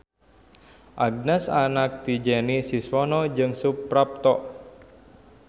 Agnes anak ti Jenny Siswono jeung Suprapto.